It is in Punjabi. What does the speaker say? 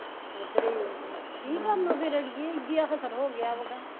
ਉਧਰੇ ਈ ਓ ਕੀ ਕਰਨਾ ਫਿਰ ਅੜੀਏ ਹੋ ਗਿਆ ਵਗਾ